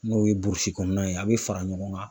N'o ye burusi kɔnɔnaw ye, a bɛ fara ɲɔgɔn kan.